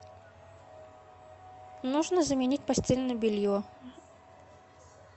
нужно заменить постельное белье